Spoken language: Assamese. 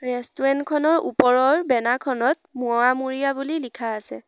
ৰেষ্টুৰেণ্ট খনৰ ওপৰৰ বেনাৰ খনত মোৱা মুৰিয়া বুলি লিখা আছে।